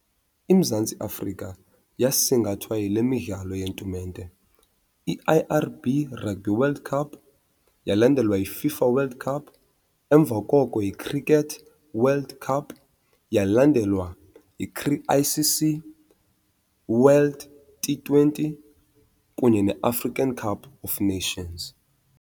IMzantsi Afrika yasingathwa yile midlalo yetumente i-I_R_ B Rugby World Cup, yalandelwa yiFIFA World Cup, emva koko yiCricket World Cup, yalandelwa I_C_C World T twenty kunye neAfrican Cup of Nations.